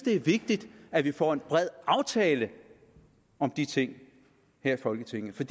er vigtigt at vi får en bred aftale om de ting her i folketinget for